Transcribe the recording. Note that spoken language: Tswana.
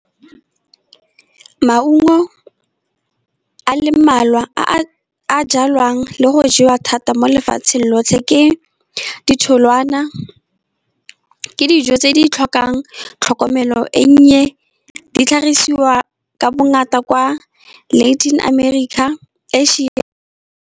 Maungo a le mmalwa a a jalwang le go jewa thata mo lefatsheng lotlhe, ke ditholwana, ke dijo tse di tlhokang tlhokomelo e nnye, di tlhagisiwa ka bongata kwa Latin America .